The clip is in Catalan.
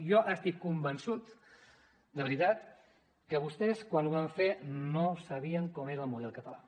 jo estic convençut de veritat que vostès quan ho van fer no sabien com era el model català